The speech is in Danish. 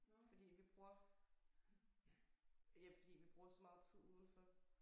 Fordi vi bruger ja fordi vi bruger så meget tid udenfor